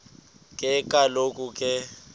ke kaloku ke